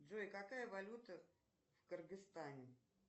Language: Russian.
джой какая валюта в кыргызстане